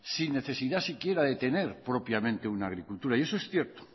sin necesidad si quiera de tener propiamente una agricultura y eso es cierto